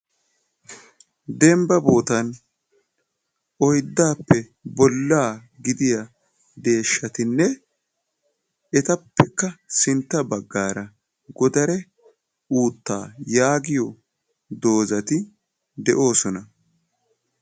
Dembba boottan oyddappe bollaa gidiya deeshshatinne etappekka sintta baggara godare-uuttaa yaagiyo dozati de'osona.